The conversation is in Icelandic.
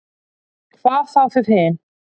Hvað þá þið hin.